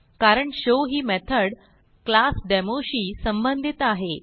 कारण शो ही method class demo शी संबंधित आहे